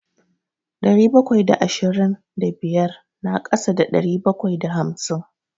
Ɗari bakwai da ashirin da biyar na ƙasa da ɗari bakwai da hamsin.